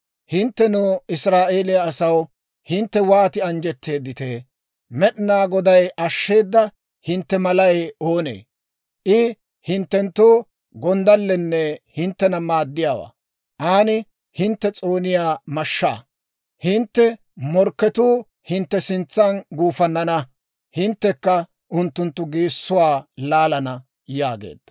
Hinttenoo Israa'eeliyaa asaw! Hintte wooti anjjetteeditee! Med'inaa Goday ashsheeda hintte malay oonee? I hinttenttoo gonddallenne hinttena maaddiyaawaa; aan hintte s'ooniyaa mashshaa. Hintte morkketuu hintte sintsan gufannana; hinttekka unttunttu geessuwaa laalana» yaageedda.